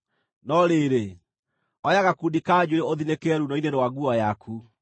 No rĩrĩ, oya gakundi ka njuĩrĩ ũthinĩkĩre ruuno-inĩ rwa nguo yaku.